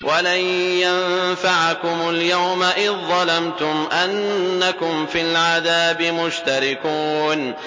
وَلَن يَنفَعَكُمُ الْيَوْمَ إِذ ظَّلَمْتُمْ أَنَّكُمْ فِي الْعَذَابِ مُشْتَرِكُونَ